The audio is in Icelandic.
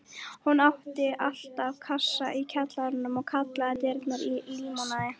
Hún átti alltaf kassa í kjallaranum og kallaði drykkinn límonaði.